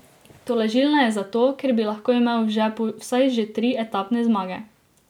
Tolažilna je zato, ker bi lahko imel v žepu vsaj že tri etapne zmage.